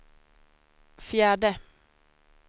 fjärde